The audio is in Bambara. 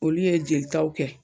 Olu ye jelitaw kɛ